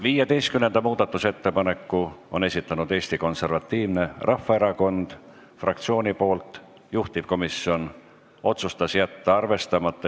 15. muudatusettepaneku on esitanud Eesti Konservatiivse Rahvaerakonna fraktsioon, juhtivkomisjon otsustas: jätta arvestamata.